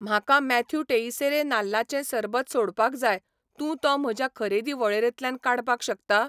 म्हाका Matthew Teixeira नाल्लाचें सरबत सोडपाक जाय, तूं तो म्हज्या खरेदी वळेरेंतल्यान काडपाक शकता?